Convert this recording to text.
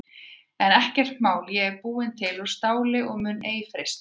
En ekkert mál ég er búin til úr STÁLI og mun ei freistast.